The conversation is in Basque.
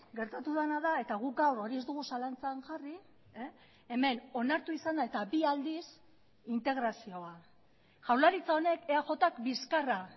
gertatu dena da eta guk gaur hori ez dugu zalantzan jarri hemen onartu izan da eta bi aldiz integrazioa jaurlaritza honek eajk bizkarra